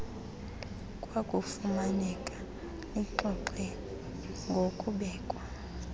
kwakufuneka lixoxe ngokubekwa